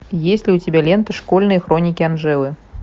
есть ли у тебя лента школьные хроники анжелы